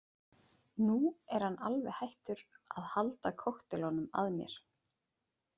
Nú er hann alveg hættur að halda kokteilunum að mér.